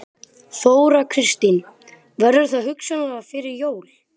Þóra Kristín: Verður það hugsanlega fyrir jól?